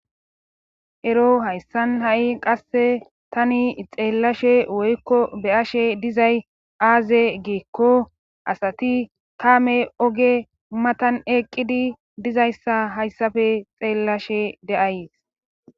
ero hayssan ha7i qasse tani xeellashe woykko beyashe dizay aaze giikko asati kaame oge matan eqqidi dizayssa hayssafe xeellashe de7ayes